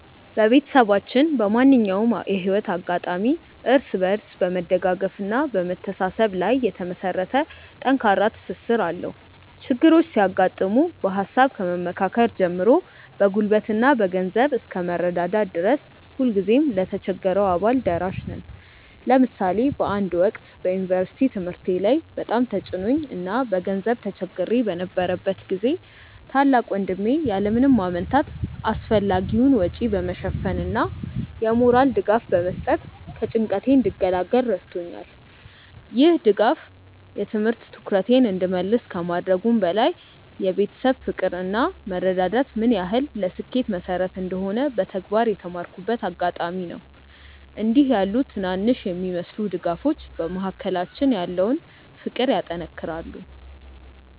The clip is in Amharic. ቤተሰባችን በማንኛውም የህይወት አጋጣሚ እርስ በርስ በመደጋገፍና በመተሳሰብ ላይ የተመሰረተ ጠንካራ ትስስር አለው። ችግሮች ሲያጋጥሙ በሃሳብ ከመመካከር ጀምሮ በጉልበትና በገንዘብ እስከ መረዳዳት ድረስ ሁልጊዜም ለተቸገረው አባል ደራሽ ነን። ለምሳሌ በአንድ ወቅት በዩኒቨርሲቲ ትምህርቴ ላይ በጣም ተጭኖኝ እና በገንዘብ ተቸግሬ በነበረበት ጊዜ ታላቅ ወንድሜ ያለ ምንም ማመንታት አስፈላጊውን ወጪ በመሸፈን እና የሞራል ድጋፍ በመስጠት ከጭንቀቴ እንድገላገል ረድቶኛል። ይህ ድጋፍ የትምህርት ትኩረቴን እንድመልስ ከማድረጉም በላይ የቤተሰብ ፍቅር እና መረዳዳት ምን ያህል ለስኬት መሰረት እንደሆነ በተግባር የተማርኩበት አጋጣሚ ነበር። እንዲህ ያሉ ትናንሽ የሚመስሉ ድጋፎች በመካከላችን ያለውን ፍቅር ያጠናክራሉ።